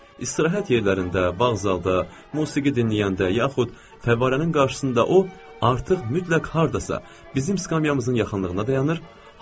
İstirahət yerlərində, bağ zalda, musiqi dinləyəndə yaxud fəvvarənin qarşısında o artıq mütləq hardasa bizim skamyamızın yaxınlığında dayanır.